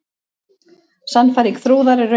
Sannfæring Þrúðar er röng.